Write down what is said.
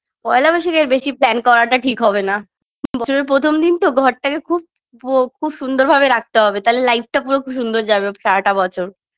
পয়লা বৈশাখে এর বেশি plan করাটা ঠিক হবেনা বছরের প্রথম দিন তো ঘরটাকে খুব প খুব সুন্দর ভাবে রাখতে হবে তাহলে life -টা খুব সুন্দর যাবে সারাটা বছর